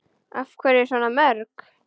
Af hverju svona mörg?